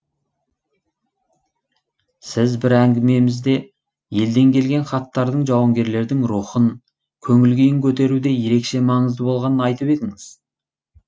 сіз бір әңгімемізде елден келген хаттардың жауынгерлердің рухын көңіл күйін көтеруде ерекше маңызды болғанын айтып едіңіз